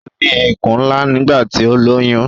Ó ní ikùn ńlá nígbà tí ó lóyún